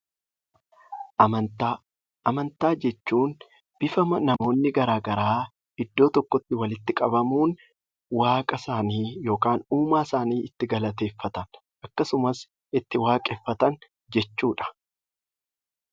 Amantaa jechuun bifa namoonni garaa garaa iddoo tokkotti walitti qabamuun waaqa isaanii yookaan uumaa isaanii itti galateeffatan akkasumas itti waaqeffatan jechuudha.